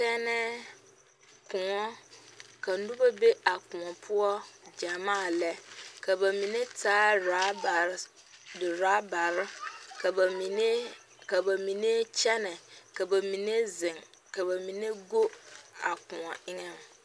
Tɛnɛɛ koɔ ka noba be a koɔ poɔ gyɛmaa lɛ ka ba mine taa raabare doraabare ka ba mine ka ba mine kyɛnɛ ka ba mine zeŋ ka ba mine go a koɔ eŋɛ.